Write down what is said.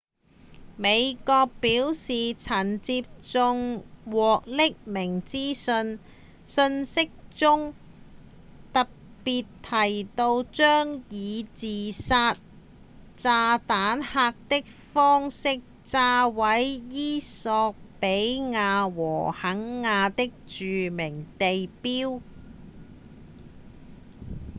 美國表示曾經接獲匿名資訊訊息中特別提到將以自殺炸彈客的方式炸毀衣索比亞和肯亞的「著名地標」